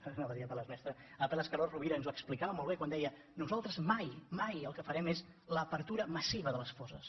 anava a dir apel·les mestres apel·les carod rovira ens ho explicava molt bé quan deia nosaltres mai mai el que farem és l’obertura massiva de les fosses